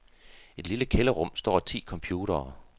I det lille kælderrum står ti computere.